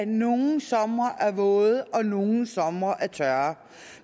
nogle somre er våde og nogle somre er tørre